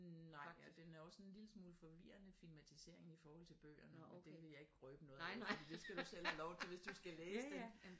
Nej og den er også en lille smule forvirrende filmatisering i forhold til bøgerne men det jeg vil ikke røbe noget af fordi det skal du selv have lov til hvis du skal læse den